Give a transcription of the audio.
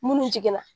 Munnu jiginna